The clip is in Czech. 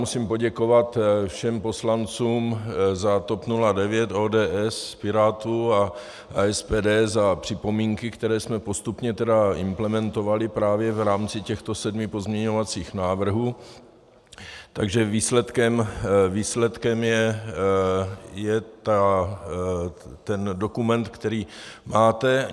Musím poděkovat všem poslancům za TOP 09, ODS, Pirátů a SPD za připomínky, které jsme postupně implementovali právě v rámci těchto sedmi pozměňovacích návrhů, takže výsledkem je ten dokument, který máte.